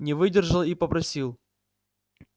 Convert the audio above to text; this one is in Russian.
не выдержал и попросил